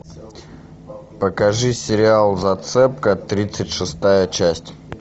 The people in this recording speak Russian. покажи сериал зацепка тридцать шестая часть